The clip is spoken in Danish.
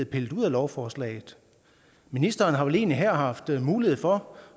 pillet ud af lovforslaget ministeren har vel egentlig her haft mulighed for